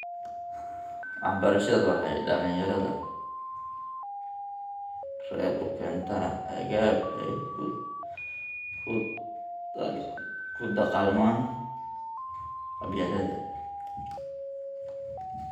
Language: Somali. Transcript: Waxbarashadu waxa ay dhalinyarada rer u keentaa agab ay kula dagaalamaan qabyaalada.